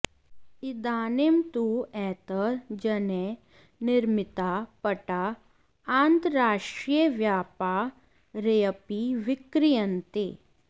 इदानीं तु एतैः जनैः निर्मिताः पटाः आन्तर्राष्ट्रियव्यापारेऽपि विक्रीयन्ते